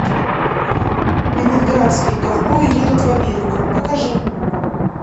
ленинградские ковбои едут в америку покажи